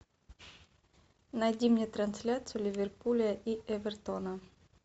найди мне трансляцию ливерпуля и эвертона